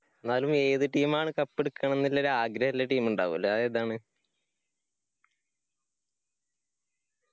എന്നാലു ഏത് team ആണ് cup എടക്കണംന് ഇല്ലഒരു ആഗ്രഹില്ല team ഇണ്ടാവുല്ല അഹ് ഏതാണ്?